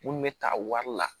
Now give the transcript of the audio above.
Mun bɛ ta wari la